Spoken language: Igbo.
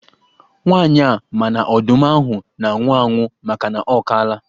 Nwaanyị a ma na ọdụm ahụ na-anwụ anwụ makana ọ kaala.